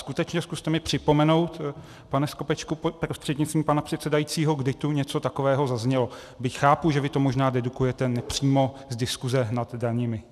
Skutečně, zkuste mi připomenout, pane Skopečku prostřednictvím pana předsedajícího, kdy tu něco takového zaznělo, byť chápu, že vy to možná dedukujete nepřímo z diskuse nad daněmi.